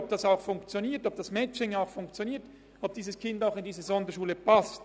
Sie müssen sagen, ob das Matching überhaupt funktioniert und ob das Kind in eine Sonderschule passt.